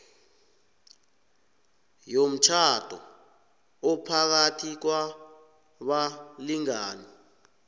yomtjhado ophakathi kwabalingani